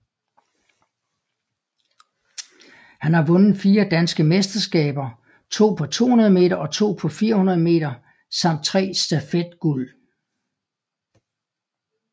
Han har vundet fire danske mesterskaber to på 200 meter og to på 400 meter samt tre stafet guld